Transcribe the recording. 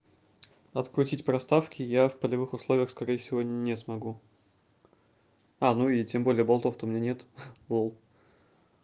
открутить проставки я в полевых условиях скорее всего не смогу а ну и тем более болтов то у меня нет ха лол